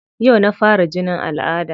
Yau na fara jinin al'adda.